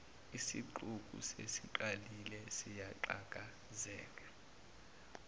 isixuku sesiqalile siyahlakazeka